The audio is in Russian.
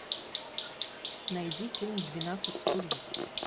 найди фильм двенадцать стульев